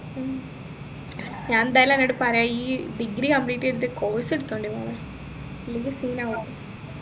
ഉം ഞാൻ എന്തായാലും അന്നൊട് പറയാം ഈ degree complete ചെയ്തിട്ട് course എടുത്ത മതി മോളെ ഇല്ലെങ്കിൽ scene ആവും